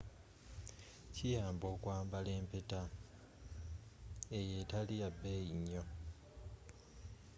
kiyamba okwambala empeta eyo etaliyabeeyi nnyo